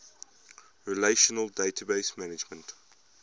relational database management